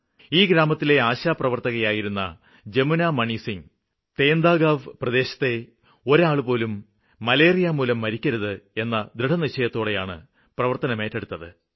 ഈ ഗ്രാമത്തിലെ ആശാപ്രവര്ത്തകയായിരുന്ന ജമുനാ മണിസിംഗ് തേംദാഗാവ് പ്രദേശത്തെ ഒരാളുപോലും മലേറിയമൂലം മരിക്കരുത് എന്ന ദൃഢനിശ്ചയത്തോടെയാണ് പ്രവര്ത്തനമേറ്റെടുത്തത്